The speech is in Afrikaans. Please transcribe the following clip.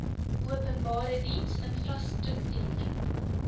openbare diens infrastruktuur